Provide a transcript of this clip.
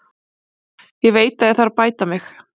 Ég veit að ég þarf að bæta mig.